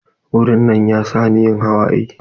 Wurin nan ya sa ni yin hawaye.